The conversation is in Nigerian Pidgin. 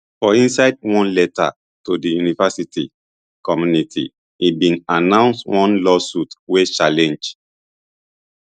for inside one letter to di university community e bin announce one lawsuit wey challenge